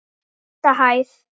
Sjötta hæð.